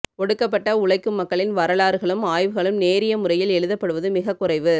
ஒடுக்கப்பட்ட உழைக்கும் மக்களின் வரலாறுகளும் ஆய்வுகளும் நேரியமுறையில் எழுதப்படுவது மிகக் குறைவு